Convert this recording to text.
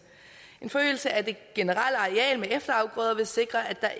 en forøgelse af det generelle areal med efterafgrøder vil sikre at der